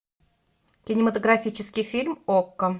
кинематографический фильм окко